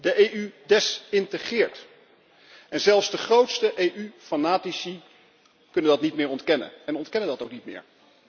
De EU desintegreert. Zelfs de grootste EU fanatici kunnen dat niet meer ontkennen en ontkennen dat ook niet meer.